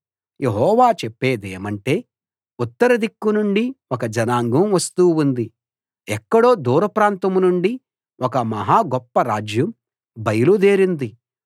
యెహోవా చెప్పేదేమంటే ఉత్తర దిక్కునుండి ఒక జనాంగం వస్తూ ఉంది ఎక్కడో దూర ప్రాంతం నుండి ఒక మహా గొప్ప రాజ్యం బయలు దేరింది